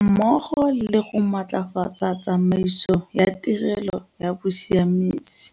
mmogo le go matlafatsa tsamaiso ya tirelo ya bosiamisi.